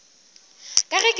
ka ge ke šetše ke